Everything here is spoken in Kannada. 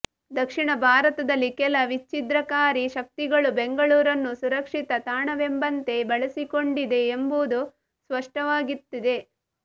ದಕ್ಷಿಣ ಭಾರತದಲ್ಲಿ ಕೆಲ ವಿಚ್ಚಿದ್ರಕಾರಿ ಶಕ್ತಿಗಳು ಬೆಂಗಳೂರನ್ನು ಸುರಕ್ಷಿತ ತಾಣವೆಂಬಂತೆ ಬಳಸಿಕೊಂಡಿದೆ ಎಂಬುದು ಸ್ಪಷ್ಟವಾಗುತ್ತಿದೆ